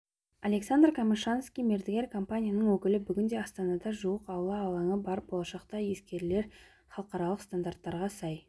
александр камышанский мердігер компанияның өкілі бүгінде астанада жуық аула алаңы бар болашақта ескілері халықаралық стандарттарға сай